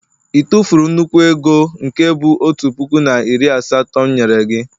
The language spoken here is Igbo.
ị tụfuru nnukwu ego nke bu otu puku na iri asatọ m nyere gị?